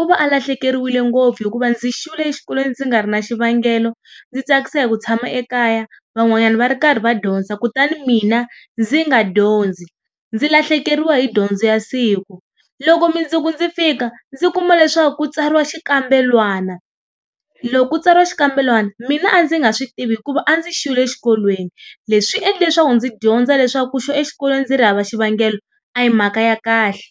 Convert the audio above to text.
U va a lahlekeriwile ngopfu hikuva ndzi xwile exikolweni ndzi nga ri na xivangelo, ndzi tsakisa hi ku tshama ekaya van'wanyana va ri karhi va dyondza, kutani mina ndzi nga dyondzi ndzi lahlekeriwa hi dyondzo ya siku, loko mundzuku ndzi fika ndzi kuma leswaku ku tsariwa xikambelwana. Loko ku tsariwa xikambelwana mina a ndzi nga swi tivi hikuva a ndzi xwile xikolweni leswi swi endle leswaku ndzi dyondza leswaku ku xwa exikolweni ndzi ri hava xivangelo a hi mhaka ya kahle.